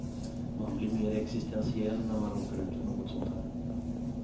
Man blir mer existentiell när man råkar ut för något sånt här.